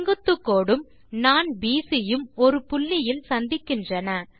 செங்குத்துக்கோடும் நாண் பிசி யும் ஒரு புள்ளியில் சந்திக்கின்றன